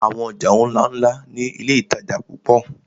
Àwọn ọjà ńláńlá ni iléìtajà púpọ̀.